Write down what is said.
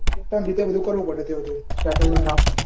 પોતાની રીતે બધું કરવું પડે ત્યો જઈને settlement